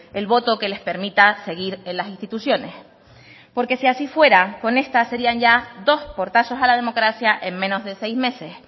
el voto que les permita seguir en las instituciones porque si así fuera con esta serían ya dos portazos a la democracia en menos de seis meses